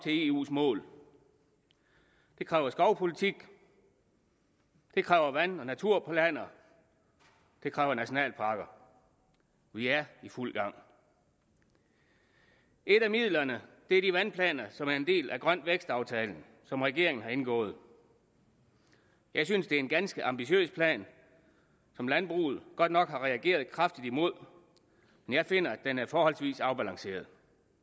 eus mål det kræver skovpolitik det kræver vand og naturplaner det kræver nationalparker vi er i fuld gang et af midlerne er de vandplaner som er en del af grøn vækst aftalen som regeringen har indgået jeg synes det er en ganske ambitiøs plan som landbruget godt nok har reageret kraftigt imod men jeg finder at den er forholdsvis afbalanceret